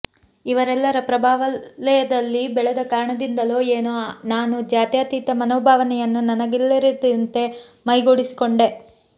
ಇವರೆಲ್ಲರ ಪ್ರಭಾವಲಯದಲ್ಲಿ ಬೆಳೆದ ಕಾರಣದಿಂದಲೋ ಏನೋ ನಾನು ಜಾತ್ಯಾತೀತ ಮನೋಭವನೆಯನ್ನು ನನಗರಿವಿಲ್ಲದಂತೆ ಮೈಗೂಢಿಸಿಕೊಂಡೆ